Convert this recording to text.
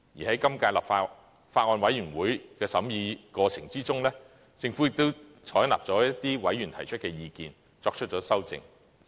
在今屆法案委員會審議的過程中，政府也接納了一些委員提出的意見，作出了修正。